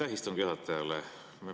Aitäh istungi juhatajale!